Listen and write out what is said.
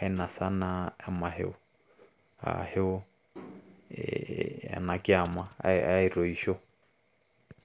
ainosa naa emasho aashu ena kiama aitoisho.